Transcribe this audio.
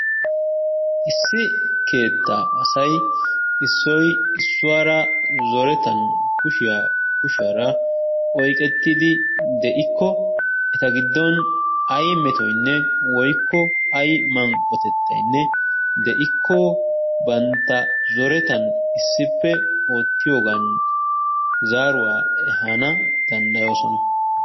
Issi keettaa asay issoy issuwara zorettan kushiya kushiyara oyqettidi de'ikko eta giddon ay metoynne woykko ay manqqotettaynne de'ikko banta zorettan issippe oottiyogan zaaruwa ehaana danddayoosona.